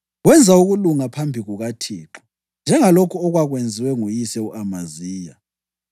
Wenza ukulunga phambi kukaThixo, njengalokhu okwakwenziwe nguyise u-Amaziya.